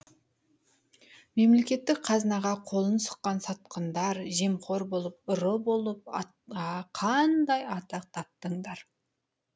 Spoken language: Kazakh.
мемлекеттік қазынаға қолын сұққан сатқындар жемқор болып ұры болып қандай атақ таптыңдар